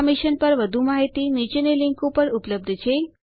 આ મિશન પર વધુ માહિતી નીચેની લીંક ઉપર ઉપલબ્ધ છે